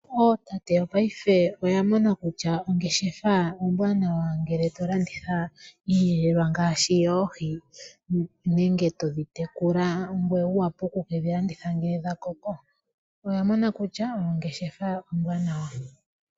Ootate yopaife oya mona kutya ongeshefa ombwanawa ngele tolanditha iiyelelwa ngaashi yoohi nenge todhi tekula ngoye wu wape okukedhi landitha ngele dha koko . Oya mona kutya ongeshefa ombwanawa .